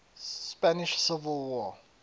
spanish civil war